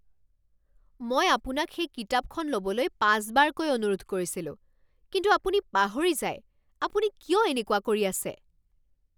মই আপোনাক সেই কিতাপখন ল'বলৈ পাঁচবাৰকৈ অনুৰোধ কৰিছিলোঁ কিন্তু আপুনি পাহৰি যায়, আপুনি কিয় এনেকুৱা কৰি আছে?